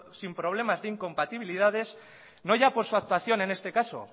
sin problemas ni incompatibilidades no ya por su actuación en este caso